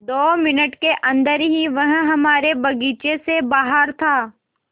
दो मिनट के अन्दर ही वह हमारे बगीचे से बाहर था